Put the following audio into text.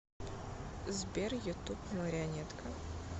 сбер ютуб марионетка